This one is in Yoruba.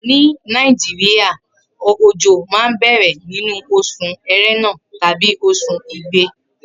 Ni orilede Naijiria ojo ma n bẹrẹ ninu osùn erena tabi osun igbe